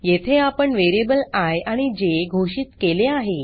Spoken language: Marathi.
येथे आपण वेरीएबल आय आणि जे घोषित केले आहे